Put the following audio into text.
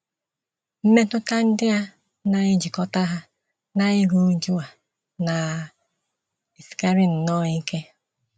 Mmetụta ndị a na - ejikọta ha na iru újú a na - esikarị nnọọ ike.